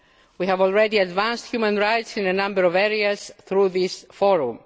level. We have already advanced human rights in a number of areas through this